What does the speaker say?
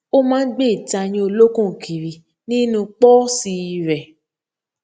ó máa n gbé ìtayín olókùn kiri nínú pọọsì rẹ